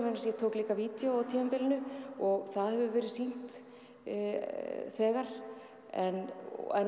ég tók líka vídeó á tímabilinu og það hefur verið sýnt nú þegar en